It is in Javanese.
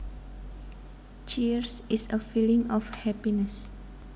Cheer is a feeling of happiness